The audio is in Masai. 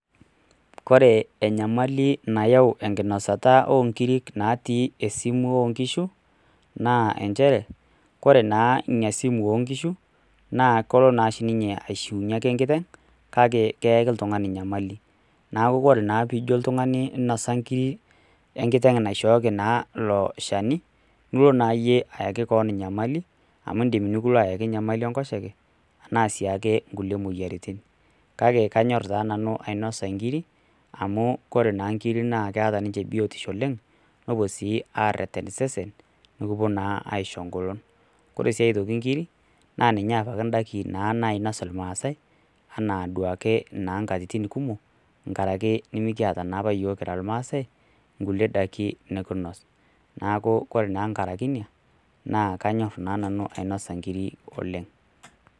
Ore enyamali naayau enkinosata oonkirik naatu esimu o nkishu, naa nchere, ore naa ina simu oonkishu , naa kelo naake ninye aishunye enkiteng', kake keyaki oltung'ni enyamali, neaku ore naa pee ijo oltung'ani inosa inkiri enkiteng' naishooki naa ilo shani, nilo naayie aaki kewon enyamali, amu indim nekilo aaki enyamali enkoshoke, anaa sii ake inkulie moyiaritin, kake kanyor taa nanu ainosa inkiri, amu ore naa ikiri naa keata ninche biotisho oleng', nepuo sii areten osesen, peepuo naa aisho eng'olon. Ore sii aitoki inkiri, naa ninye taata indaiki nainos ilmaasai, anaa duake naa inkatitin kumok, enkaraki naa nemekiata naa apa iyiok kira naa ilmaasai, inkulie daikin nekinos, neaku kore naa enkaraki ina, naa kanyor naa nanu ainosa inkiri oleng'.